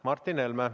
Martin Helme.